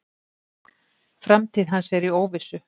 Framtíð hans er í óvissu.